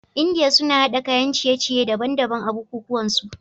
India suna hada kayan ciye ciye daban daban a buku kuwan su